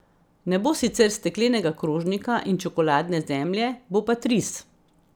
Ne bo sicer steklenega krožnika in čokoladne zemlje, bo pa tris.